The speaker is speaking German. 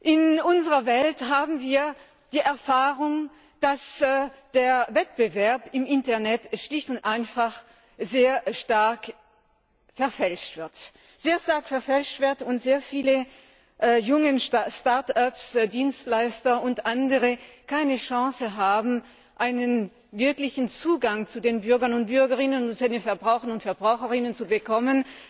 In unserer Welt haben wir die Erfahrung, dass der Wettbewerb im Internet schlicht und einfach sehr stark verfälscht wird und sehr viele junge Start ups, Dienstleister und andere keine Chance haben, einen wirklichen Zugang zu den Bürgern und Bürgerinnen und zu den Verbrauchern und Verbraucherinnen zu bekommen,